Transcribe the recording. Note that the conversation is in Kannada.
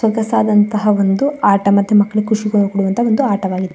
ಸೊಗಸದಂತಹ ಒಂದು ಆಟ ಮತ್ತೆ ಖುಷಿ ಕೊಡುವಂತಹ ಆಟ.